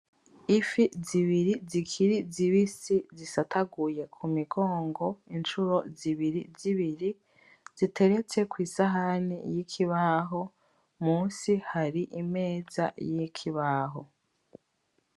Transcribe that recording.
Ifi zibiri zikiri zibisi zisataguye kumigongo incuro zibiri zibiri ziteretse kwisahani yikibaho, munsi hari imeza y'ikibaho.